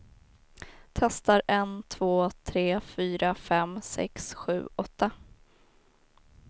Testar en två tre fyra fem sex sju åtta.